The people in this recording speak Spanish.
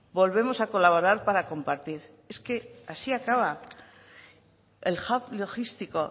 volvemos a colaborar para compartir es que así acaba el hub logístico